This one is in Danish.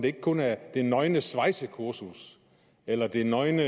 ikke kun er det nøgne svejsekursus eller den nøgne